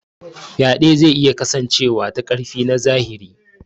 Faɗe zai iya kasancewa ta ƙarfi na zahiri.